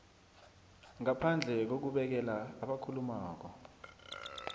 ngaphandle kokubekela abakhulumako